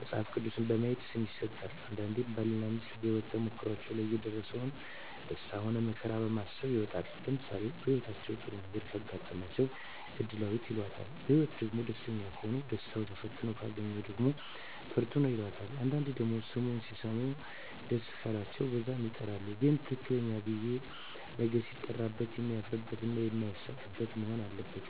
መጸሀፍ ቅዱስ በማየት ስም ይሠጣል አንዳንዴም ባል እና ሜስት በሄወት ተሞክሮዎች ላይ የደረሰባቸው ደስታ ሆነ መከራ በማሰብ ይወጣል ለምሳሌ በህይወታቸው ጥሩ ነገረ ካጋጠማቸው እድላዌት ይላታል በህይወትአቸዉ ደግሞ ደስተኛ ከሆኑ ደስታው ተፈትነው ካገኛት ደግሞ ፍርቱና ይላታል አንዳንዴ ደግሞ ስሙ ሲሰሙት ደስ ቃላቸው በዛም ይጠራሉ ግን ትክክለኛው ብየ ነገ ሲጠራበት የማያፍርበት እና ማይሳቀቅበት መሆን አለበት